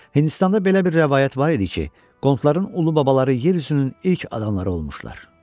Hindistanda belə bir rəvayət var idi ki, Qondların ulu babaları yer üzünün ilk adamları olmuşlar.